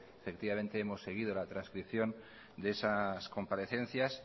efectivamente hemos seguido la trascripción de esas comparecencias